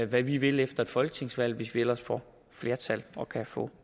vi vil efter et folketingsvalg hvis vi ellers får flertal og kan få